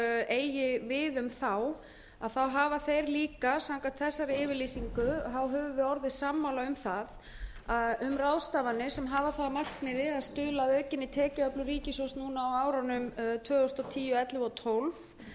eigi við um þá en auk þess höfum við samkvæmt þessari yfirlýsingu orðið sammála um ráðstafanir sem hafa það að markmiði að stuðla að aukinni tekjuöflun ríkissjóðs á árunum tvö þúsund og tíu tvö þúsund og ellefu og tvö þúsund og tólf